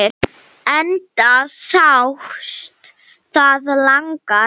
Enda sást það langar leiðir.